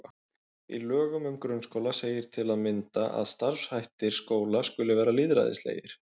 Í lögum um grunnskóla segir til að mynda að starfshættir skóla skuli vera lýðræðislegir.